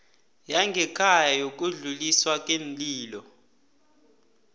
yangekhaya yokudluliswa kweenlilo